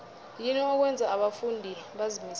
yini okwenza abafundi bazimisele